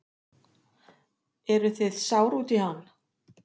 Eruð þið sár út í hann?